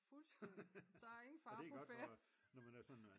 Fuldstændig så er der ingen fare på færde